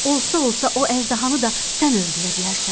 Olsa-olsa o əjdahanı da sən öldürə bilərsən.